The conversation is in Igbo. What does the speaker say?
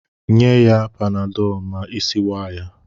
Nye ya panadọọlụ ma isi waa ya!